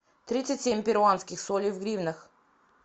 тридцать семь перуанских солей в гривнах